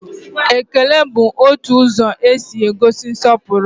Ekele bụ otu ụzọ e si egosi nsọpụrụ